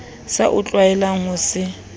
sa o tlwaelang ho se